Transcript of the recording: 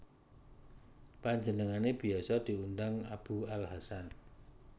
Panjenengane biasa diundang Abu al Hasan